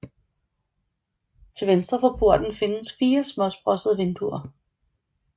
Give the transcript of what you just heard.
Til venstre for porten findes fire småsprossede vinduer